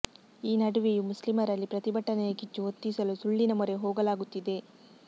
ಈ ನಡುವೆಯೂ ಮುಸ್ಲಿಮರಲ್ಲಿ ಪ್ರತಿಭಟನೆಯ ಕಿಚ್ಚು ಹೊತ್ತಿಸಲು ಸುಳ್ಳಿನ ಮೊರೆ ಹೋಗಲಾಗುತ್ತಿದೆ